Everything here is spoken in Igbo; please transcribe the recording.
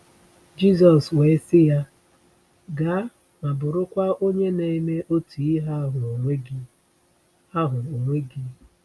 Jizọs wee sị ya: “Gaa, ma bụrụkwa onye na-eme otu ihe ahụ onwe gị.” ahụ onwe gị.”